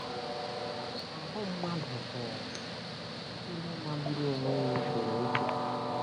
Ahụ́ mmadụ bụ ihe magburu onwe ya e kere eke!